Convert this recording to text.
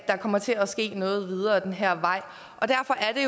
der kommer til at ske noget videre ad den her vej og derfor er